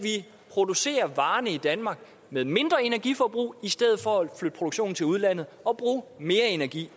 producerer varerne i danmark med mindre energiforbrug i stedet for at flytte produktionen til udlandet og bruge mere energi